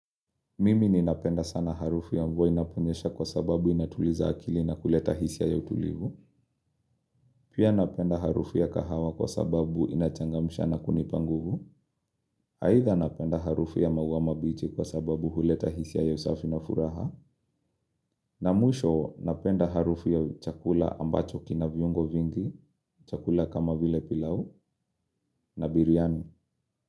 Mimi ni napenda sana harufu ya mvua inaponyesha kwa sababu inatuliza akili na kuleta hisia ya utulivu. Pia napenda harufu ya kahawa kwa sababu inachangamsha na kunipa nguvu. Aidha napenda harufu ya maua mabichi kwa sababu huleta hisia ya usafi na furaha. Na mwisho napenda harufu ya chakula ambacho kina viungo vingi, chakula kama vile pilau, na biryani.